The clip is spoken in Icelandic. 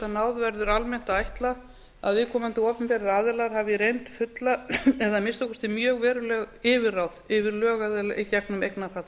náð verður almennt að ætla að viðkomandi opinberir aðilar hafi í reynd fulla eða að minnsta kosti mjög veruleg yfirráð yfir lögaðila í gegnum eignarhald sitt rétt